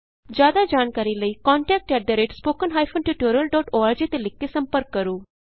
ਜਿਆਦਾ ਜਾਣਕਾਰੀ ਲਈ ਕੰਟੈਕਟ spoken tutorialorg ਤੇ ਲਿਖ ਕੇ ਸੰਪਰਕ ਕਰੋ